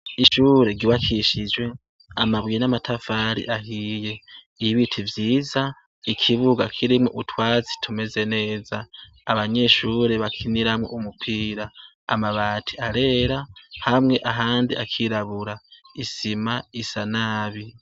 Ishure ryubakishijwe amabuye n'amatafari ahiye. Ibiti vyiza, ikibuga kirimwo utwatsi tumeze neza abanyeshure bakiniramwo umupira. Amabati arera, hamwe ahandi akirabura. Isima isa nabi.